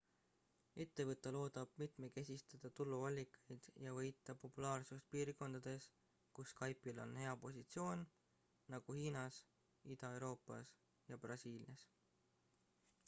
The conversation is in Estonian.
ettevõte loodab mitmekesistada tuluallikaid ja võita populaarsust piirkondades kus skype'il on hea positsioon nagu hiinas ida-euroopas ja brasiilias